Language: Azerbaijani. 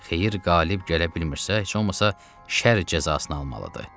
Xeyir, qalib gələ bilmirsə, heç olmasa şər cəzasını almalıdır.